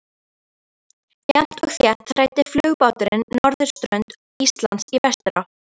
Jafnt og þétt þræddi flugbáturinn norðurströnd Íslands í vesturátt.